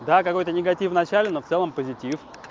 да какой-то негатив в начале но в целом позитив